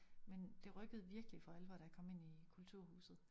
Men det rykkede virkelig for alvor da jeg kom ind i kulturhuset